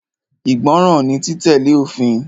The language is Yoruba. Ìgbọràn ni títẹ̀lé òfin.